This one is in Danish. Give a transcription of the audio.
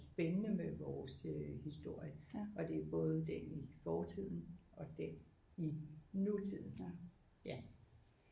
Spændende med vores historie og det er både den i fortiden og den i nutiden